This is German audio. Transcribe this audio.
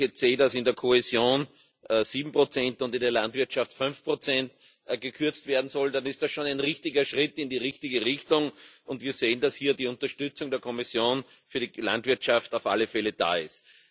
Und wenn ich jetzt sehe, dass in der Kohäsion sieben Prozent und in der Landwirtschaft fünf Prozent gekürzt werden sollen, dann ist das schon ein richtiger Schritt in die richtige Richtung, und wir sehen, dass hier die Unterstützung der Kommission für die Landwirtschaft auf alle Fälle da ist.